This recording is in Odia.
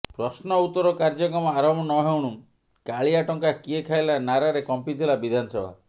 ପ୍ରଶ୍ନ ଉତ୍ତର କାର୍ଯ୍ୟକ୍ରମ ଆରମ୍ଭ ନ ହେଉଣୁ କାଳିଆ ଟଙ୍କା କିଏ ଖାଇଲା ନାରାରେ କମ୍ପିଥିଲା ବିଧାନସଭା